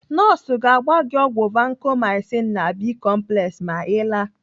Nọọsụ ga-agba gị ọgwụ Vacomycin na Bi-complex ma Ị laa.